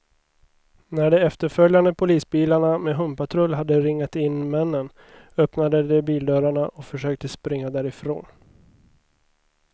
När de efterföljande polisbilarna med hundpatrull hade ringat in männen, öppnade de bildörrarna och försökte springa därifrån.